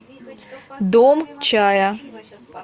дом чая